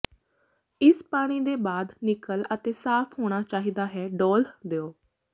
ਇਸ ਪਾਣੀ ਦੇ ਬਾਅਦ ਨਿਕਲ ਅਤੇ ਸਾਫ ਹੋਣਾ ਚਾਹੀਦਾ ਹੈ ਡੋਲ੍ਹ ਦਿਓ